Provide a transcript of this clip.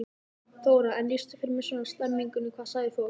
Þóra: En lýstu fyrir mér svona stemmingunni, hvað sagði fólk?